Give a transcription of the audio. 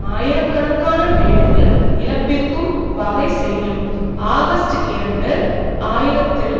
ஆயிரக்கணக்கான வேலைகள் இழப்பிற்கும் வகை செய்யும் ஆகஸ்ட் இரண்டு ஆயிரத்தில்